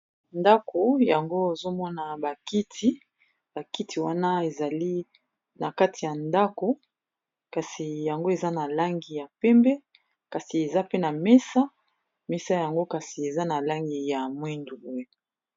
ndako yango ozomona bakiti, bakiti wana ezali na kati ya ndako kasi yango eza na langi ya pembe kasi eza pe na mesa ,mesa yango kasi eza na langi ya mwindu.